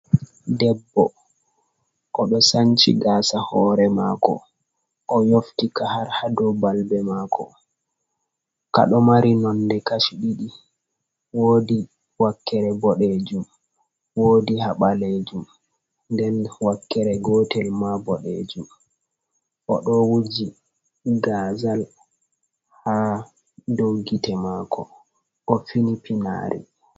Debbo o do sanci gasa hore mako o yofti a har hadobalbe mako kado mari nonde kasu didi wodi wakkere bodejum wodi habalejum nden wakkere gotel ma bodejum o do wuji gazal ha doggite mako o finipinari.